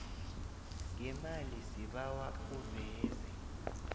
ngemali sibawa uveze